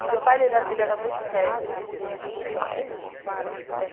E o meu pai ele era ele era muito sério, muito direito, muito reto.